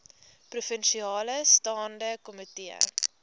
provinsiale staande komitee